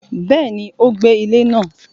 Béèni, o gbé ilé náà